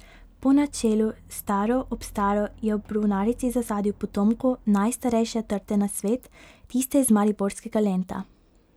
Po načelu staro ob staro je ob brunarici zasadil potomko najstarejše trte na svet, tiste iz mariborskega Lenta.